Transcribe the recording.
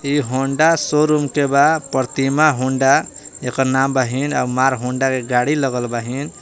ई Honda showroom Pratima Honda एकर नाम बहिं मार होंडा के गाड़ी बाहिन।